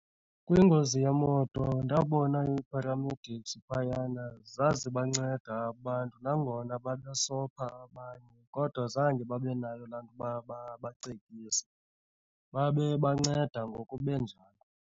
Kwingozi yemoto ndabona i-paramedics phayana zazibanceda abantu. Nangona babesopha abanye, kodwa zange babe nayo laa ntoba babacekise babebanceda ngoku benjalo.